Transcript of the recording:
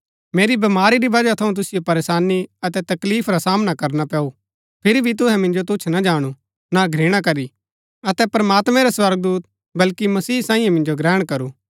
मेरी बमारी री वजह थऊँ तुसिओ परेशानी अतै तकलीफ रा सामना करना पैऊ फिरी भी तुहै मिन्जो तुच्छ ना जाणु ना घृणा करी अतै प्रमात्मैं रै स्वर्गदूत बल्कि मसीह सांईयै मिन्जो ग्रहण करू